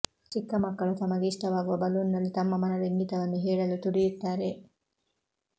ಚಿಕ್ಕಮಕ್ಕಳು ತಮಗೆ ಇಷ್ಟವಾಗುವ ಬಲೂನ್ನಲ್ಲಿ ತಮ್ಮ ಮನದ ಇಂಗಿತವನ್ನು ಹೇಳಲು ತುಡಿಯುತ್ತಾರೆ